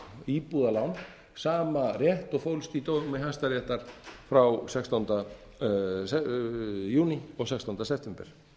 íbúðalán sama rétt og fólst í dómi hæstaréttar frá sextánda júní og sextánda september